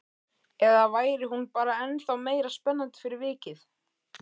Eða væri hún bara ennþá meira spennandi fyrir vikið?